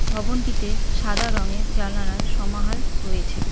ভবনটিতে সাদা রঙের জালানার সমাহার রয়েছে।